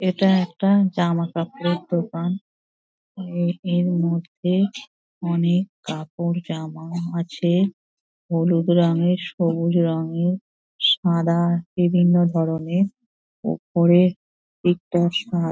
এটা একটা জামা কাপড়ের দোকান | এ এর মধ্যে অনেক কাপড় জামা আছে হলুদ রঙেরসবুজ রঙেরসাদা বিভিন্ন ধরনের ওপরের দিকটা সা--